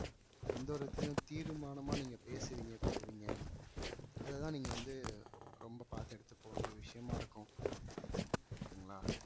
எந்த ஒரு விதத்துலையும் தீர்மானமா நீங்க பேசுவீங்க கொல்லுவீங்க அது தான் நீங்க வந்து ரொம்ப பாத்து எடுத்துட்டு போக வேண்டிய விஷயமா இருக்கும் okay ங்களா